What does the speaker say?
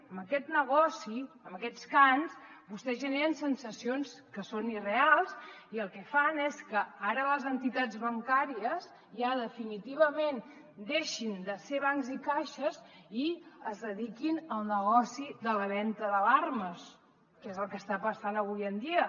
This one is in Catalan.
amb aquest negoci amb aquests cants vostès generen sensacions que són irreals i el que fan és que ara les entitats bancàries ja definitivament deixin de ser bancs i caixes i es dediquin al negoci de la venda d’alarmes que és el que està passant avui en dia